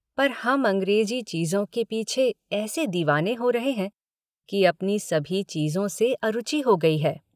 पर हम अंग्रेज़ी चीज़ों के पीछे ऐसे दीवाने हो रहे हैं कि अपनी सभी चीज़ों से अरुचि हो गई है।